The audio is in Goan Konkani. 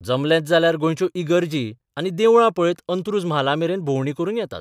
जमलेंच जाल्यार गोंयच्यो इगर्जी आनी देवळां पळयत अंत्रूज म्हालामेरेन भोवंडी करून येतात.